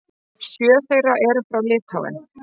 Sjö þeirra eru frá Litháen.